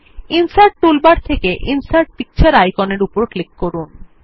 insert toolbar থেকে insert picture আইকনের উপর ক্লিক করুন